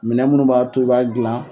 Minɛn minnu b'a to i b'a dilan.